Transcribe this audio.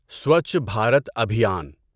سوچھ Bharat ابھیان